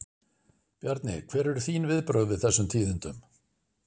Bjarni, hver eru þín viðbrögð við þessum tíðindum?